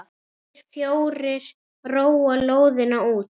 Hinir fjórir róa lóðina út.